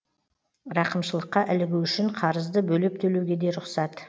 рақымшылыққа ілігу үшін қарызды бөліп төлеуге де рұқсат